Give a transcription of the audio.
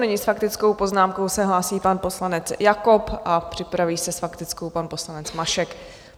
Nyní s faktickou poznámkou se hlásí pan poslanec Jakob a připraví se s faktickou pan poslanec Mašek.